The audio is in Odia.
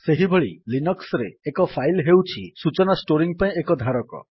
ସେହିଭଳି ଲିନକ୍ସ୍ ରେ ଏକ ଫାଇଲ୍ ହେଉଛି ସୂଚନା ଷ୍ଟୋରିଙ୍ଗ୍ ପାଇଁ ଏକ ଧାରକ